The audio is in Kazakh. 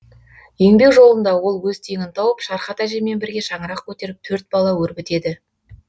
еңбек жолында ол өз теңін тауып шархат әжеммен бірге шаңырақ көтеріп төрт бала өрбітеді